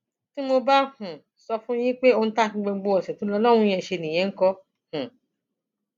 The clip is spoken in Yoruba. tí mo bá um sọ fún yín pé ohun tí a fi gbogbo ọṣẹ tó lò lọhùnún yẹn ṣe nìyẹn ńkọ um